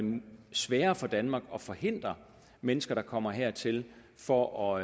sværere for danmark at forhindre at mennesker kommer hertil for